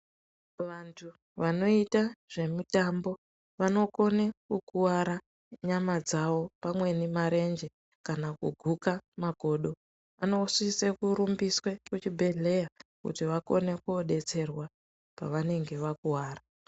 Vantu vanoyita zvemitambo, vanokone kukuvara nyama dzavo pamweni marenje, kana kuguka makodo, anosise kurumbiswe kuchibhedhleya kuti vakone kodetserwa pavanenge vakuwara.